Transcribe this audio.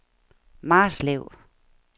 Marslev